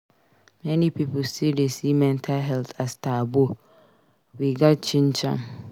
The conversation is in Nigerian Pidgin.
Many pipo still dey see mental health as taboo; we gats change am.